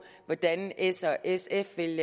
hvordan s og sf vil